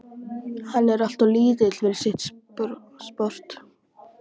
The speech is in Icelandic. Hann er alltof lítill fyrir sitt sport.